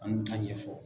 An n'u ta ɲɛfɔ